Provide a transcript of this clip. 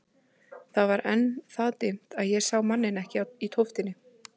Það var enn það dimmt að ég sá manninn ekki í tóftinni.